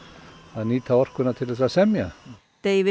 að nýta orkuna til þess að semja